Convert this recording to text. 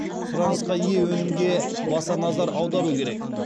сұранысқа ие өнімге баса назар аудару керек